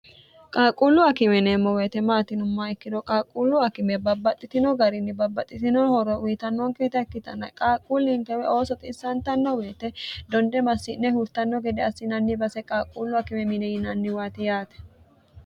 qaalqquullu akime yineemmo weete maati yinumma ikkiro qaaqquullu akime babbaxxitino garinni babbaxxitino horo uwyitannoonkeeta ikkitanna qaaqquuliinkewe oo soxiissantanno woyite donde massi'ne hurtanno gede assinanni base qaaqquullu akime mine yinanniwaati yaate